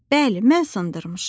"Bəli, mən sındırmışam."